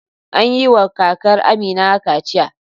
An yi wa kakar Amina kaciya.